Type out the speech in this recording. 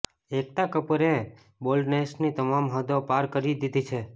એકતા કપૂરે બોલ્ડનેસની તમામ હદો પાર કરી દીધી છે